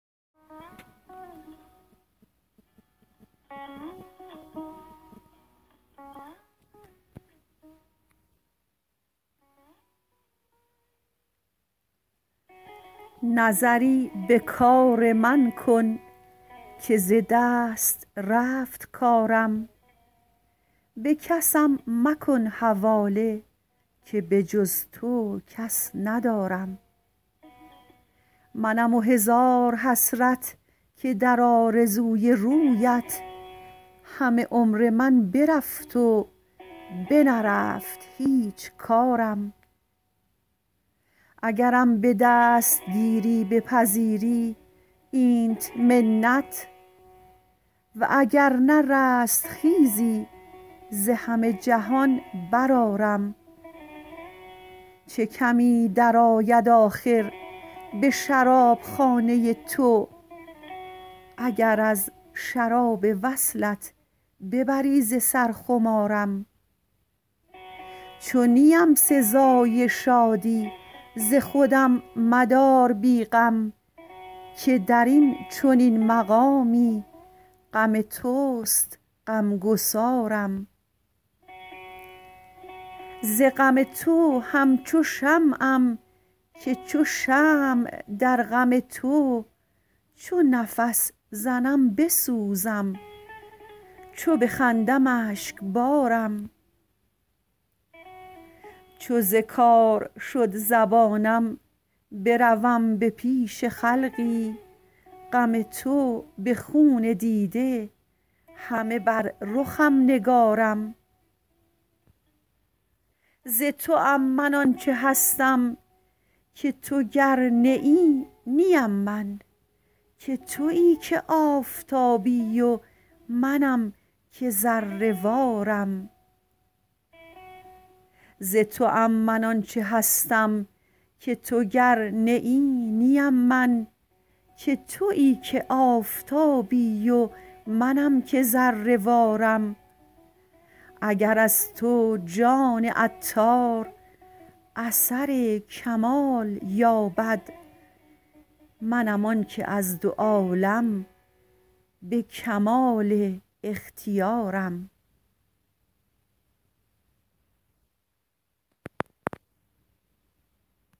نظری به کار من کن که ز دست رفت کارم به کسم مکن حواله که به جز تو کس ندارم منم و هزار حسرت که در آرزوی رویت همه عمر من برفت و بنرفت هیچ کارم اگرم به دستگیری بپذیری اینت منت واگر نه رستخیزی ز همه جهان برآرم چه کمی درآید آخر به شرابخانه تو اگر از شراب وصلت ببری ز سر خمارم چو نیم سزای شادی ز خودم مدار بی غم که درین چنین مقامی غم توست غمگسارم ز غم تو همچو شمعم که چو شمع در غم تو چو نفس زنم بسوزم چو بخندم اشکبارم چو ز کار شد زبانم بروم به پیش خلقی غم تو به خون دیده همه بر رخم نگارم ز توام من آنچه هستم که تو گر نه ای نیم من که تویی که آفتابی و منم که ذره وارم اگر از تو جان عطار اثر کمال یابد منم آنکه از دو عالم به کمال اختیارم